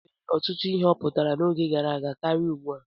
O nwere ọtụtụ ihe ọ pụtara n'oge gara aga karịa ugbu a.